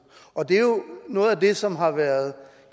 noget af det som har været